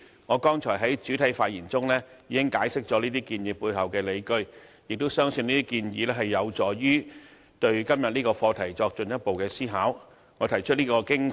我剛才在主體發言中已經解釋了這些建議背後的理據，亦相信這些建議有助大家進一步思考今天的課題。